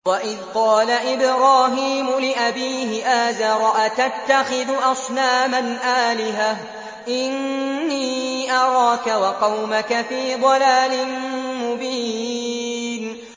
۞ وَإِذْ قَالَ إِبْرَاهِيمُ لِأَبِيهِ آزَرَ أَتَتَّخِذُ أَصْنَامًا آلِهَةً ۖ إِنِّي أَرَاكَ وَقَوْمَكَ فِي ضَلَالٍ مُّبِينٍ